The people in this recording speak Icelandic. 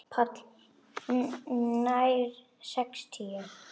PÁLL: Nær sextíu.